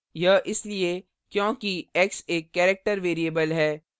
यह इसलिए क्योंकि x एक character variable variable है